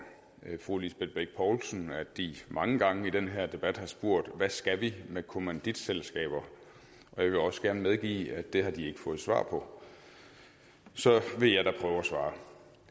fru lisbeth bech poulsen at de mange gange i den her debat har spurgt hvad skal vi med kommanditselskaber og jeg vil også gerne medgive at det har de ikke fået svar på så vil jeg da prøve at svare